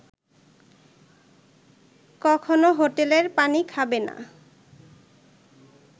কখনো হোটেলের পানি খাবে না